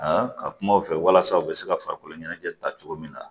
ka kuma u fɛ walasa u bɛ se ka farikolo ɲɛnajɛ ta cogo min na